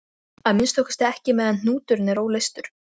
Að minnsta kosti ekki meðan hnúturinn er óleystur.